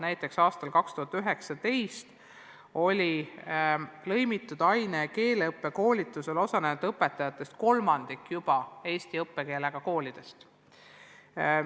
Näiteks aastal 2019 oli lõimitud aine- ja keeleõppe koolitusel osalenud õpetajatest kolmandik juba eesti õppekeelega koolidest.